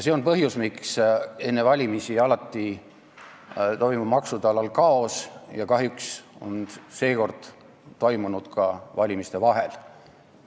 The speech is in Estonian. See on põhjus, miks enne valimisi toimub maksude alal alati kaos, ja kahjuks on seekord toimunud see ka valimiste vahel.